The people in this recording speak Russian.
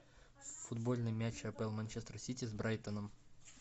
футбольный матч апл манчестер сити с брайтоном